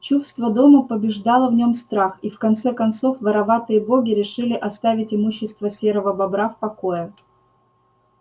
чувство дома побеждало в нём страх и в конце концов вороватые боги решили оставить имущество серого бобра в покое